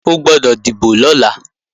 O gbọ́dọ̀ dìbò lọ́la